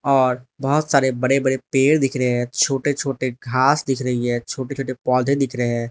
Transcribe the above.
और बहुत सारे बड़े बड़े पेड़ दिख रहे हैं छोटे छोटे घास दिख रही है छोटे छोटे पौधे दिख रहे हैं।